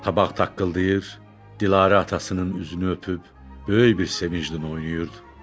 Tabaq taqqıldayır, Dilarə atasının üzünü öpüb böyük bir sevinclə oynayırdı.